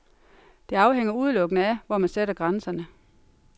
Det afhænger udelukkende af, hvor man sætter grænserne.